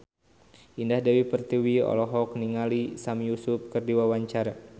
Indah Dewi Pertiwi olohok ningali Sami Yusuf keur diwawancara